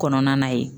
Kɔnɔna na ye